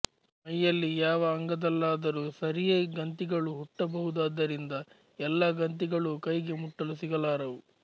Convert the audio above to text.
ಮೈಯಲ್ಲಿ ಯಾವ ಅಂಗದಲ್ಲಾದರೂ ಸರಿಯೆ ಗಂತಿಗಳು ಹುಟ್ಟಬಹುದಾದ್ದರಿಂದ ಎಲ್ಲ ಗಂತಿಗಳೂ ಕೈಗೆ ಮುಟ್ಟಲು ಸಿಗಲಾರವು